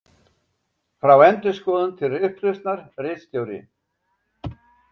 Frá endurskoðun til upplausnar, ritstjóri